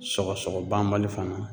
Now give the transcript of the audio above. Sɔgɔsɔgɔ banbali fana